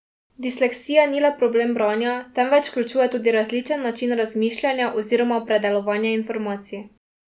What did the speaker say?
Disleksija ni le problem branja, temveč vključuje tudi različen način razmišljanja oziroma predelovanja informacij.